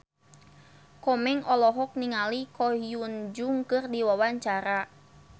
Komeng olohok ningali Ko Hyun Jung keur diwawancara